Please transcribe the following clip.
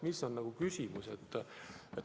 Milles on küsimus?